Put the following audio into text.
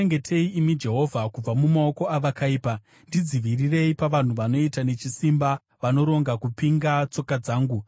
Ndichengetei, imi Jehovha, kubva mumaoko avakaipa; ndidzivirirei pavanhu vanoita nechisimba vanoronga kupinga tsoka dzangu.